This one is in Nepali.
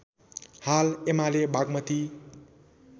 हाल एमाले बागमती